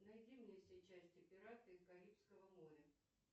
найди мне все части пираты карибского моря